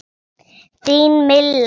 Þín Milla.